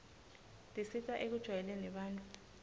tisita ekujwayeleni bantfu